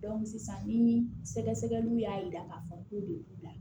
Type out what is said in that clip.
sisan ni sɛgɛsɛgɛliw y'a yira k'a fɔ ko de b'u la